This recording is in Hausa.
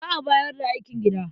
Za a bayar da aikin gida.